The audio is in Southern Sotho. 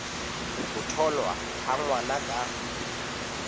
ho tholwa ha ngwana ka